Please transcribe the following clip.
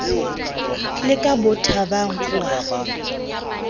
le ke bothabang o a